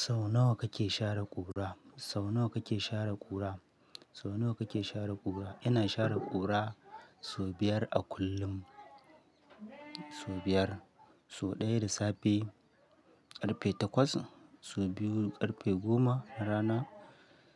Sau nawa kake share ƙura? Sau nawa kake share ƙura? Sau nawa kake share ƙura? Ina share ƙura sau biyar a kullum. Sau biyar, sau ɗaya da safe, ƙarfe takwas, sau biyu ƙarfe goma na rana,